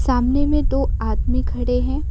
सामने में दो आदमी खड़े हैं।